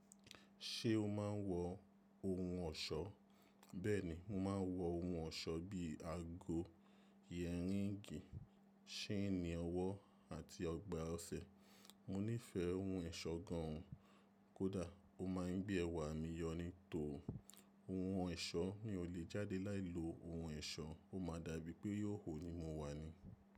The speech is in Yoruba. Ṣé o máa ń wọ ohun ọ̀ṣọ́? Bẹ́ẹ̀ni, mo máa ń wọ ohun ọ̀ṣọ́ bíi ago, yẹ̀ríǹgì, ṣéènì ọwọ́ àti ọgbà ọṣẹ. Mo nífẹ̀ẹ́ ohun ẹ̀ṣọ́ gan òun. Kódà ó máa ń gbé ẹwà mí yọ ní tòún, ohun ọ̀ṣọ́ mi o lè jáde láìlo ohun ẹ̀ṣọ́, ó máa dàbí pé ihoho ní mo wa ni.